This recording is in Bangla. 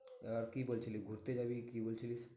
এবার কি বলছিলি? ঘুরতে যাবি কি বলছিলি?